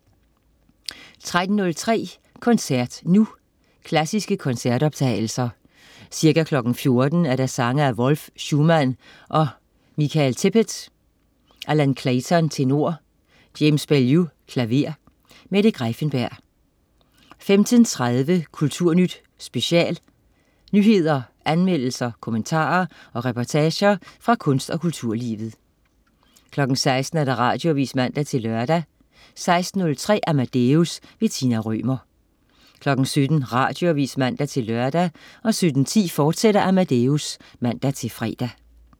13.03 Koncert nu. Klassiske koncertoptagelser. Ca. 14.00 Sange af Wolf, Schumann og Michael Tippet. Allan Clayton, tenor. James Baillieu, klaver. Mette Greiffenberg 15.30 Kulturnyt Special. Nyheder, anmeldelser, kommentarer og reportager fra kunst- og kulturlivet 16.00 Radioavis (man-lør) 16.03 Amadeus. Tina Rømer 17.00 Radioavis (man-lør) 17.10 Amadeus, fortsat (man-fre)